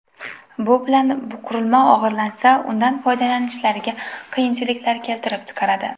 Bu bilan qurilma o‘g‘irlansa, undan foydalanishlariga qiyinchiliklar keltirib chiqaradi.